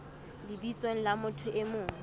lebitsong la motho e mong